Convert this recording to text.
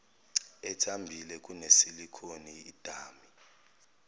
ethambile kunesilikhoni idami